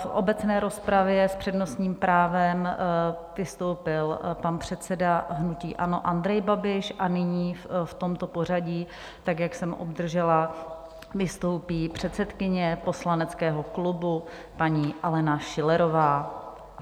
V obecné rozpravě s přednostním právem vystoupil pan předseda hnutí ANO Andrej Babiš a nyní, v tomto pořadí, tak jak jsem obdržela, vystoupí předsedkyně poslaneckého klubu paní Alena Schillerová.